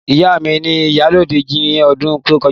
Ìyá mi ni ìyálájé ní ọdún tó kọjá.